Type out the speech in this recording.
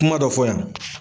Kuma dɔ fɔ yan.